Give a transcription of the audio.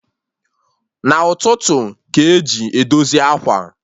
Na ụtụtụ ka eji edozi ákwà